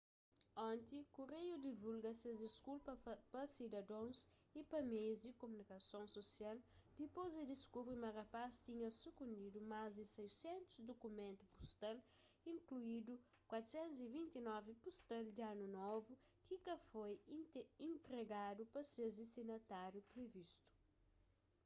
onti kureiu divulga ses diskulpa pa sidadons y pa meius di kumunikason susial dipôs di diskubri ma rapaz tinha sukundidu más di 600 dukumentu pustal inkluindu 429 pustal di anu novu ki ka foi intregadu pa ses distinatáriu privistu